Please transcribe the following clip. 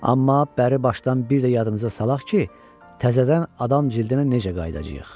Amma bəri başdan bir də yadımıza salaq ki, təzədən adam cildinə necə qayıdacağıq?